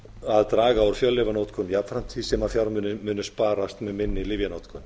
að draga úr fjöllyfjanotkun jafnframt því sem fjármunir munu sparast með minni lyfjanotkun